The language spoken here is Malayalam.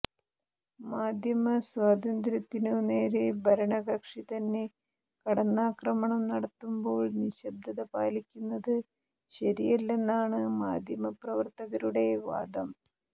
മാധ്യമസ്വാതന്ത്ര്യത്തിനു നേരെ ഭരണകക്ഷി തന്നെ കടന്നാക്രമണം നടത്തുമ്പോൾ നിശബ്ദത പാലിക്കുന്നത് ശരിയല്ലെന്നാണ് മാധ്യമപ്രവർത്തകരുടെ വാദം